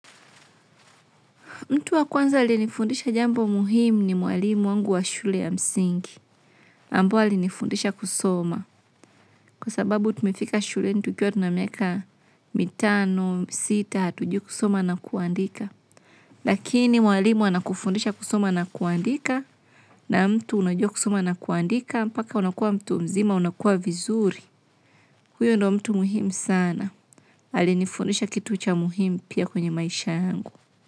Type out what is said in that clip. Mtu wa kwanza alinifundisha jambo muhimu ni mwalimu wangu wa shule ya msingi. Ambaye alinifundisha kusoma. Kwa sababu tumefika shuleni tukiwa tuna miaka mitano sita hatujui kusoma na kuandika. Lakini mwalimu anakufundisha kusoma na kuandika, na mtu unajua kusoma na kuandika, mpaka unakuwa mtu mzima, unakuwa vizuri. Kukwa hiyo ndio mtu muhimu sana. Alinifundisha kitu ucha muhimu pia kwenye maisha yangu.